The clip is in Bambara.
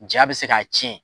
Jaa bɛ se k'a tiɲɛ.